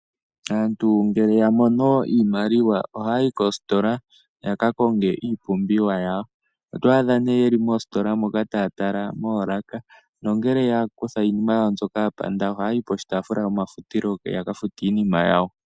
Aantu ngele ya mono iimaliwa ohaya yi koositola ya ka konge iipumbiwa yawo. Oto adha ye li moositola moka taya tala moolaka nongele ya kutha iinima yawo mbyoka ya panda, ohaya yi koshitaafula shomafutilo yaka fute iinima yawo.